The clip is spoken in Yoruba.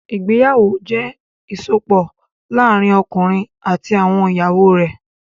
Ìgbéyàwó jẹ́ ìsopọ̀ láàárín ọkùnrin àti àwọn ìyàwó rẹ̀.